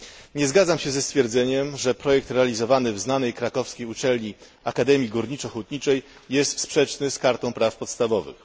Nie zgadzam się ze stwierdzeniem, że projekt realizowany w znanej krakowskiej uczelni, Akademii Górniczo Hutniczej, jest sprzeczny z kartą praw podstawowych.